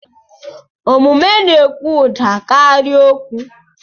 Omume na-ekwu ụda karịa okwu.